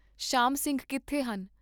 ਸ਼ਾਮ ਸਿੰਘ ਕਿੱਥੇ ਹਨ?